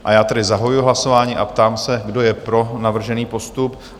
A já tedy zahajuji hlasování a ptám se, kdo je pro navržený postup?